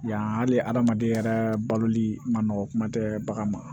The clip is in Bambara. Yan hali adamaden yɛrɛ baloli ma nɔgɔn kuma tɛ bagan ma